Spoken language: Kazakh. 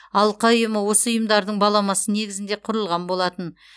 алқа ұйымы осы ұйымдардың баламасы негізінде құрылған болатын